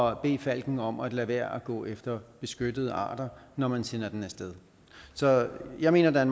at bede falken om at lade være at gå efter beskyttede arter når man sender den af sted så jeg mener der er